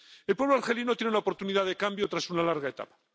El pueblo argelino tiene la oportunidad de cambio tras una larga etapa